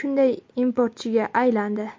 shunday importchiga aylandi.